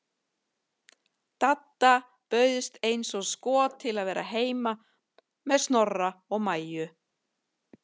Dadda bauðst eins og skot til að vera heima með Snorra og Maju.